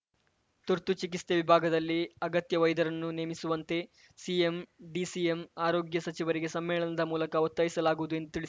ತುರ್ತು ಚಿಕಿತ್ಸೆ ವಿಭಾಗದಲ್ಲಿ ಅಗತ್ಯ ವೈದ್ಯರನ್ನು ನೇಮಿಸುವಂತೆ ಸಿಎಂ ಡಿಸಿಎಂ ಆರೋಗ್ಯ ಸಚಿವರಿಗೆ ಸಮ್ಮೇಳನದ ಮೂಲಕ ಒತ್ತಾಯಿಸಲಾಗುವುದು ಎಂದು ತಿಳಿಸಿ